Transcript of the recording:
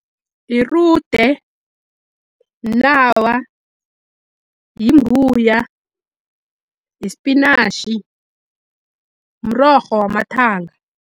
Irude, mnawa, yimbuya, ispinashi, mrorho wamathanga.